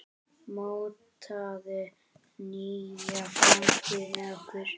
Mótaðu nýja framtíð með okkur!